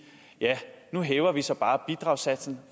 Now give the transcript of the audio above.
nu hæver vi så bare bidragssatsen